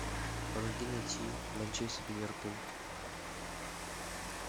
помоги найти манчестер ливерпуль